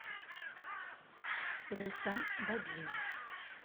лейсан бобине